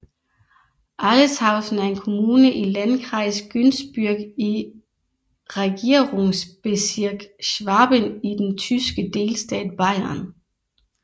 Aletshausen er en kommune i Landkreis Günzburg i Regierungsbezirk Schwaben i den tyske delstat Bayern